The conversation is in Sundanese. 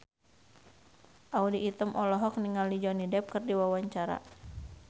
Audy Item olohok ningali Johnny Depp keur diwawancara